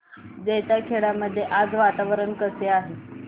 जैताखेडा मध्ये आज वातावरण कसे आहे